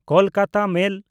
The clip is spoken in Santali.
ᱠᱳᱞᱠᱟᱛᱟ ᱢᱮᱞ